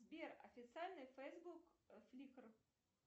сбер официальный фейсбук фликр